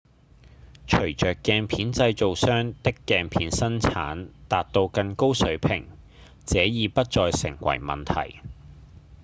隨著鏡片製造商的鏡片生產達到更高水準這已不再成為問題